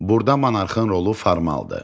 Burda monarxın rolu formaldır.